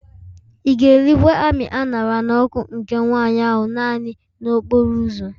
Ị ga-erikwa amị a ṅara n'ọkụ nke nwanyị ahụ naanị n'okporo ụzọ